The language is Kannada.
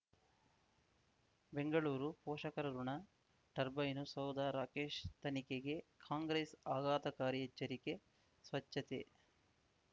ಬೆಂಗಳೂರು ಪೋಷಕರಋಣ ಟರ್ಬೈನು ಸೌಧ ರಾಕೇಶ್ ತನಿಖೆಗೆ ಕಾಂಗ್ರೆಸ್ ಆಘಾತಕಾರಿ ಎಚ್ಚರಿಕೆ ಸ್ವಚ್ಛತೆ